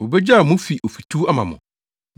Wobegyaw mo fi ofituw ama mo.